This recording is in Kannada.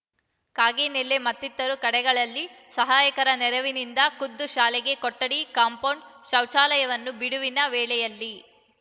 ಕಾಗಿನೆಲ್ಲಿ ಮತ್ತಿತರ ಕಡೆಗಳಲ್ಲಿ ಸಹಾಯಕರ ನೆರವಿನಿಂದ ಖುದ್ದು ಶಾಲೆಗೆ ಕೊಠಡಿ ಕಾಂಪೌಂಡ್‌ ಶೌಚಾಲಯವನ್ನು ಬಿಡುವಿನ ವೇಳೆಯಲ್ಲಿ